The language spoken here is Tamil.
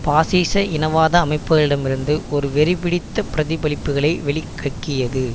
பாசிச இனவாத அமைப்புகளிடமிருந்து ஒரு வெறிபிடித்த பிரதிபலிப்புகளை வெளி கக்கியது